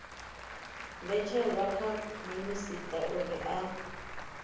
mbetshelwa kha minisita uri a